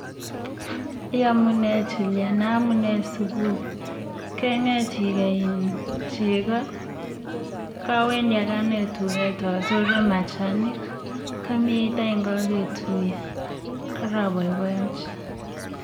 Iyomune Juliana amunee sukul, keng'et ikeei iin chekoo, kawendi akanee tuket asore machanik, komnyeit any koketuye, koroboiboenchi.